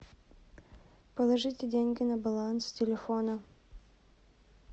положите деньги на баланс телефона